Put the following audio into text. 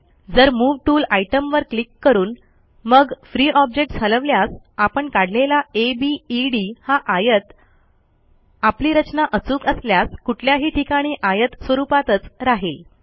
जर move tool आयटमवर click करून मग फ्री ऑब्जेक्ट्स हलवल्यास आपण काढलेला अबेद हा आयत आपली रचना अचूक असल्यास कुठल्याही ठिकाणी आयत स्वरूपातच राहिल